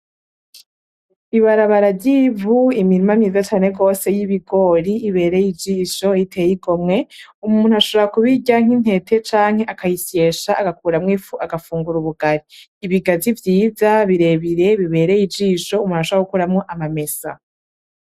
Ibarabara ry'ivu, imirima myiza cane rwose, y'ibigori iberye ijisho, iteye igomwe. Umuntu ashobora kubirya nk'intete canke akayisyesha agakuramwo ifu agafungura ubugari. Ibigazi vyiza birebire bibereye ijisho, umuntu ashobora gukuramwo amamesa.